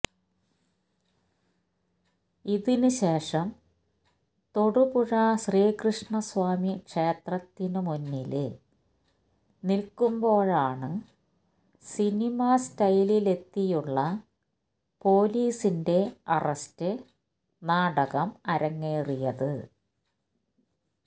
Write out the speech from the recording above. ഇതിന് ശേഷം തൊടുപുഴ ശ്രീകൃഷ്ണ സ്വാമി ക്ഷേത്രത്തിനു മുന്നില് നില്ക്കുമ്പോഴാണ് സിനിമ സ്റ്റൈലിലെത്തിയുള്ള പോലീസിന്റെ അറസ്റ്റ് നാടകം അരങ്ങേറിയത്